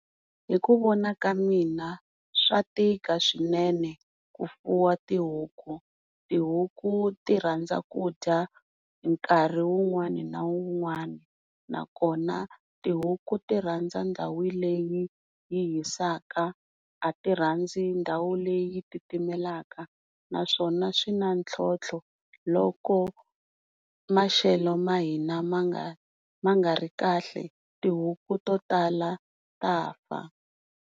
Hi ku vona ka mina swa tika swinene ku fuwa tihuku. Tihuku ti rhandza ku dya nkarhi wun'wani na wun'wani, nakona tihuku tirhandza ndhawu leyi yi hisaka a ti rhandzi ndhawu leyi yi titimelaka, naswona swi na ntlhontlho loko maxelo ma hina ma nga ri kahle tihuku to tala ta fa.